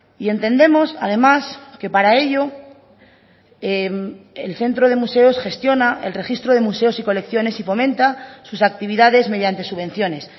y entendemos además que para ello el centro de museos gestiona el registro de museos y colecciones y fomenta sus actividades mediante subvenciones